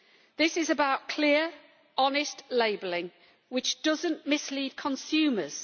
This is about clear, honest labelling which does not mislead consumers.